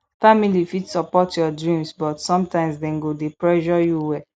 family fit support your dreams but sometimes dem go dey pressure you well